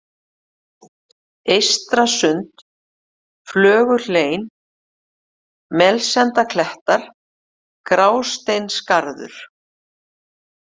Eystrasund, Flöguhlein, Melsendaklettar, Grásteinsgarður